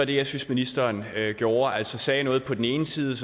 det jeg synes ministeren gjorde altså sagde noget på den ene side